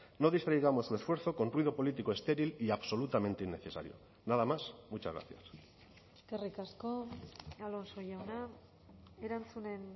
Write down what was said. no distraigamos su esfuerzo con ruido político estéril y absolutamente innecesario nada más muchas gracias eskerrik asko alonso jauna erantzunen